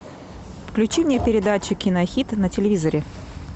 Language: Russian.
включи мне передачу кинохит на телевизоре